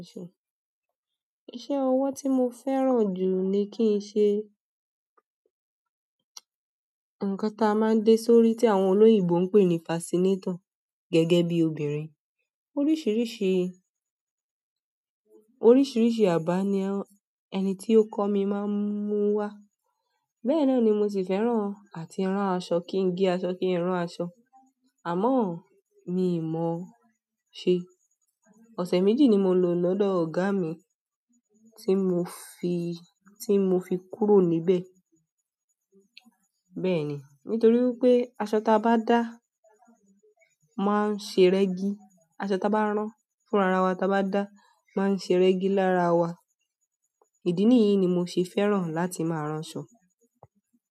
Iṣẹ́ ọwọ ti mó fẹ́ràn jù ni kí ń ṣe ǹkan tí a máa ń dé sórí tí àwọn olóyinbo ń pè ní fascinator gẹ́gẹ́ bí obìnrin. Oríṣiríṣi, oríṣiríṣi àbà ni ẹni tí ó kọ́ mi máa ń mú wá. Bẹ́ẹ̀ na ni mo sì fẹ́ràn àti rán aṣọ, kí n gé aṣọ, kí n rán aṣọ. Àmọ́ mi mọ̀ ọ́n ṣe. Ọ̀sẹ̀ méjì ni mo lò lọ́dọ̀ ọ̀gá mi tí mo fi, tí mo fi kúrò níbẹ̀. Bẹ́ẹ̀ni, nítorí wípé aṣọ tábà dá máa ń ṣe rẹgi, aṣọ tábà rán fúnra ràn wà tábà da máa ń ṣe rẹgi lára wà, ìdí níyì ni mo'se fẹ́ràn láti má rán aṣọ.